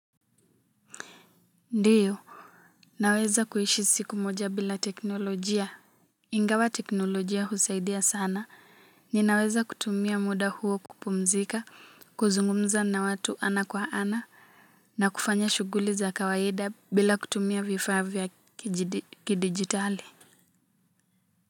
Ndiyo naweza kuishi siku moja bila teknolojia ingawa teknolojia husaidia sana ninaweza kutumia muda huo kupumzika kuzungumza na watu ana kwa ana na kufanya shughuli za kawaida bila kutumia vifaa vya kidigitali.